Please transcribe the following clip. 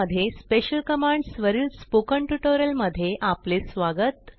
मध्ये special commands वरील spoken tutorial मध्ये आपले स्वागत